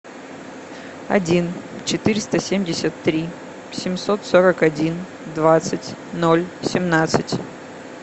один четыреста семьдесят три семьсот сорок один двадцать ноль семнадцать